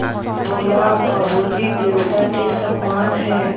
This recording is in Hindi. बोला बाबू जी देवता के समान हैं